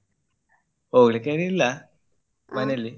ಹೋಗ್ಲಿಕ್ಕೆ ಏನು ಇಲ್ಲ.